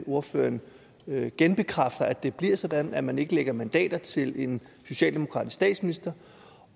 ordføreren genbekræfter at det bliver sådan at man ikke lægger mandater til en socialdemokratisk statsminister